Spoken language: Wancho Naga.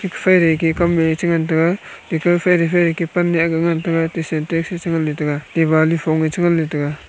fere ke kam wai chengan taiga teke fere fere ke pan e ak ngan taiga ate Syntex e chengan taiga Diwali fonge chengan taiga.